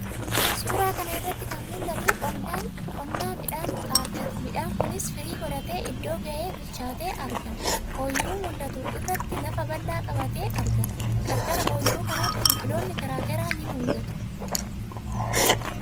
Suuraa kana irratti kan mul'atu qonna midhaan xaafiiti. Midhaan kunis firii godhatee, iddoo ga'ee, bilchaatee argama. Oyiruu mul'atu irratti lafa bal'aa qabatee argama. Qarqara oyiruu kanaatti biqiloonni garaa garaa ni mul'atu.